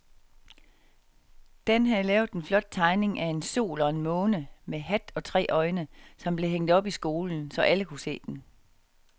Dan havde lavet en flot tegning af en sol og en måne med hat og tre øjne, som blev hængt op i skolen, så alle kunne se den.